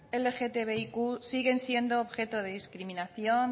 lgtbiq siguen siendo objeto de discriminación